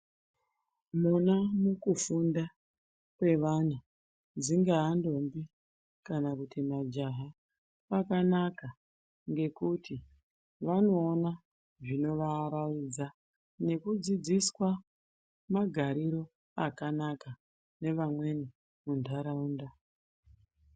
Muna mukufunda kwevana dzingaa ndombi kana kuti majaha kwakanaka ngekuti vanoona zvinovaaraidza nekudzidziswa magariro akanaka nevamweni mundaraunda.